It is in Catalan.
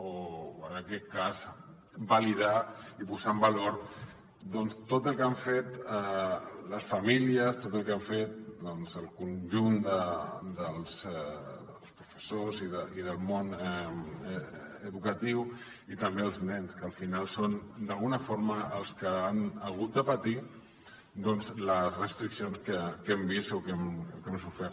o en aquest cas validar i posar en valor doncs tot el que han fet les famílies tot el que ha fet el conjunt dels professors i del món educatiu i també els nens que al final són d’alguna forma els que han hagut de patir les restriccions que hem vist o que hem sofert